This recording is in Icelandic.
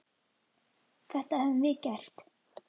Þetta höfum við gert.